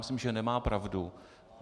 Myslím, že nemá pravdu.